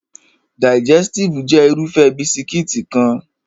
Digẹstive jẹ́ Irúfẹ́ bisikíìtì kan